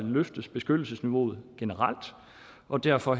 løftes beskyttelsesniveauet generelt og derfor